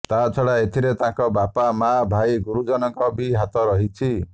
ତା ଛଡା ଏଥିରେ ତାଙ୍କ ବାପା ମା ଭାଇ ଗୁରୁଜନଙ୍କ ବି ହାତ ରହିଛି